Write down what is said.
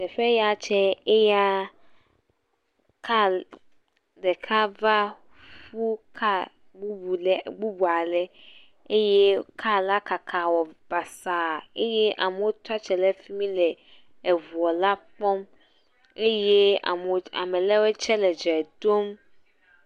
Teƒeya tse eya kal ɖeka va ƒu ka bubu le bubua le eye ka la kaka wɔ basa eye amewo tsiatre ɖe fi mi le eŋua la kpɔm eye amewo ame le woe tse le dze ɖom.